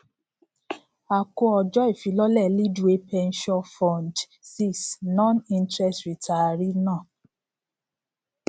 a kò ọjọ ifilọlẹ leadway pensure fund vi noninterest retiree náà